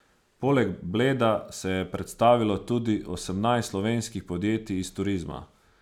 Poleg Bleda se je predstavilo tudi osemnajst slovenskih podjetij iz turizma.